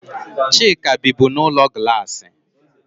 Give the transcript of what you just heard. Chika bibu n'ulo glassi.